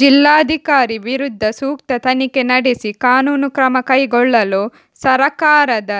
ಜಿಲ್ಲಾಧಿಕಾರಿ ವಿರುದ್ಧ ಸೂಕ್ತ ತನಿಖೆ ನಡೆಸಿ ಕಾನೂನು ಕ್ರಮ ಕೈಗೊಳ್ಳಲು ಸರಕಾರದ